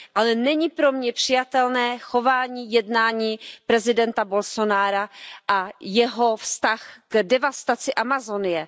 Ale není pro mě přijatelné chování a jednání prezidenta Bolsonara a jeho vztah k devastaci Amazonie.